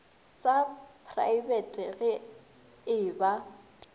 sa praebete ge e ba